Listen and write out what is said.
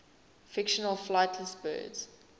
fictional flightless birds